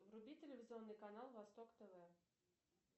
вруби телевизионный канал восток тв